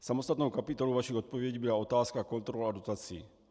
Samostatnou kapitolou vaší odpovědi byla otázka kontroly dotací.